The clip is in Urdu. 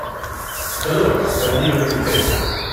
چلو جلد ہی کبھی ملتے ہیں۔